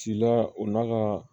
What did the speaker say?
Ci la o n'a ka